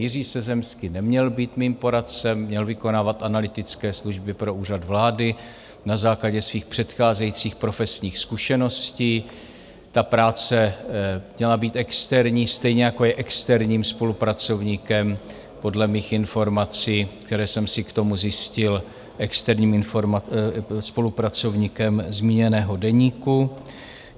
Jiří Sezemský neměl být mým poradcem, měl vykonávat analytické služby pro Úřad vlády na základě svých předcházejících profesních zkušeností, ta práce měla být externí, stejně jako je externím spolupracovníkem podle mých informací, které jsem si k tomu zjistil, externím spolupracovníkem zmíněného deníku.